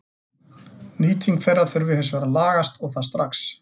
Nýting þeirra þurfi hins vegar að lagast og það strax.